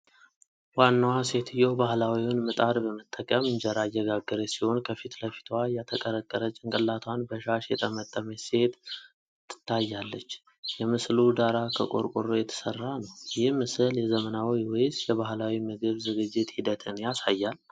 ዋናዋ ሴትዮ ባህላዊውን ሚጥድ በመጠቀም እንጀራ እየጋገረች ሲሆን፣ ከፊት ለፊቷ የተቀረቀረ ጭንቅላቷን በሻሽ የጠመጠመች ሴት ታያለች። የምስሉ ዳራ ከቆርቆሮ የተሰራ ነው። ይህ ምስል የዘመናዊ ወይስ የባህላዊ የምግብ ዝግጅት ሂደትን ያሳያል?